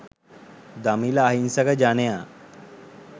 දමිල අහිංසක ජනයා